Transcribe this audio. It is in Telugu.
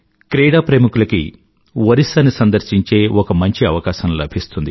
క్రీడాప్రేమికులకి ఒరిస్సాని సందర్శించే ఒక మంచి అవకాశం లభిస్తుంది